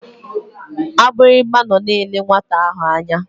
Agbịrịgba nọ na-ele nwata ahụ anya.